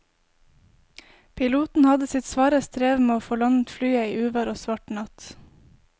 Piloten hadde sitt svare strev med å få landet flyet i uvær og svart natt.